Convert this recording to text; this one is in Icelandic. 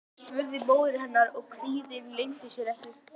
spurði móðir hennar og kvíðinn leyndi sér ekki.